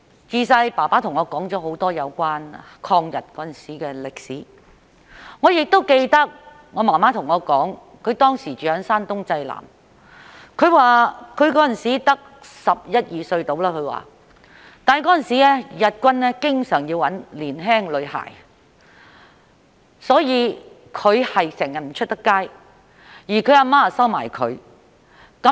自小父親對我說了很多有關抗日時的歷史，我亦記得母親告訴我，她當時住在山東濟南，只有十一二歲，但當時日軍經常要找年輕女孩，所以她整天不能外出。